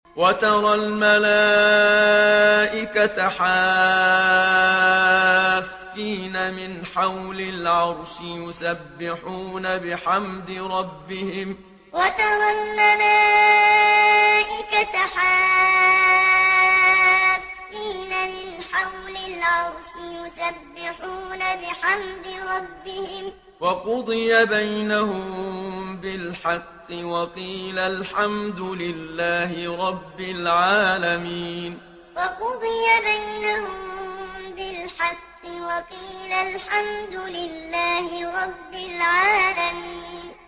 وَتَرَى الْمَلَائِكَةَ حَافِّينَ مِنْ حَوْلِ الْعَرْشِ يُسَبِّحُونَ بِحَمْدِ رَبِّهِمْ ۖ وَقُضِيَ بَيْنَهُم بِالْحَقِّ وَقِيلَ الْحَمْدُ لِلَّهِ رَبِّ الْعَالَمِينَ وَتَرَى الْمَلَائِكَةَ حَافِّينَ مِنْ حَوْلِ الْعَرْشِ يُسَبِّحُونَ بِحَمْدِ رَبِّهِمْ ۖ وَقُضِيَ بَيْنَهُم بِالْحَقِّ وَقِيلَ الْحَمْدُ لِلَّهِ رَبِّ الْعَالَمِينَ